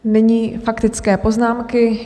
Nyní faktické poznámky.